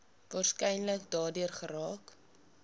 waarskynlik daardeur geraak